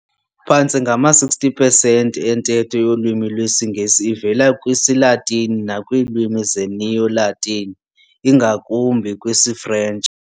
Phantse ngama-60 pesenti entetho yolwimi lwesiNgesi ivela kwisiLatini nakwiilimi zeNeo-Latin, ingakumbi kwisiFrentshi.